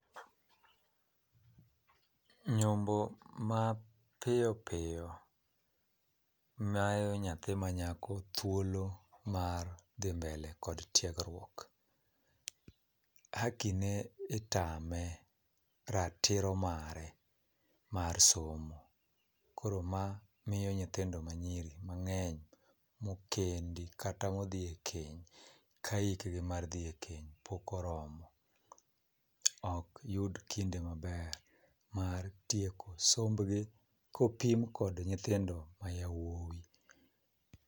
Nyombo mapiyo piyo mayo nyathi manyako thuolo mar dhi mbele kod tiegruok. Hakine itame, ratiro mare mar somo. Koro ma miyo nyithindo manyiri mang'eny mokendi kata modhi e keny ka hikgi mar dhi e keny pok oromo okyud kinde maber mar tieko sombgi kopim kod nyithindo mayawuoyi.